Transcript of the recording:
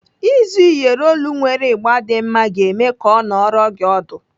Ịzụ Iyeri olu nwere ịgba dị mma ga-eme ka ọ nọrọ gị ọdụ.